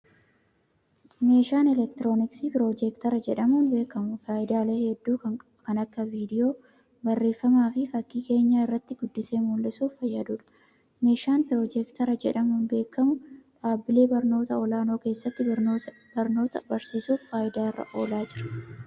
Meeshaan elektirooniksii piroojektara jedhamuun beekamu, faayidaalee hedduu kan akka:viidiyoo, barreeffama fi fakkii keenyaa irratti guddisee mul'isuuf fayyaduu dha. Meeshaan piroojektara jedhamuun beekamu, dhaabbilee barnoota olaanoo keessatti barnoota barsiisuuf faayidaa irra oolaa jira.